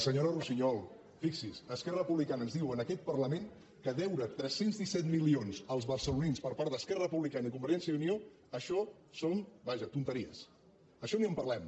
senyora russiñol fixi’s esquerra republica·na ens diu en aquest parlament que deure tres cents i disset mili·ons als barcelonins per part d’esquerra republicana i convergència i unió això són vaja tonteries d’això ni en parlem